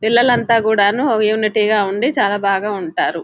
పిల్లలంతా కూడాను ఒక యూనిటీ గా ఉంది చాలా బాగా ఉంటారు --